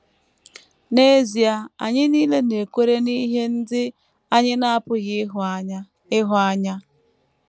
N’ezie, anyị nile na - ekwere n’ihe ndị anyị na - apụghị ịhụ anya. ịhụ anya.